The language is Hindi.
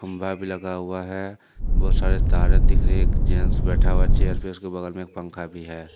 खंभा भी लगा हुआ है बहुत सारे तारें दिख रही हैं एक जेंट्स बैठा हुआ हैं चेयर पे उसके बगल में एक पंखा भी है।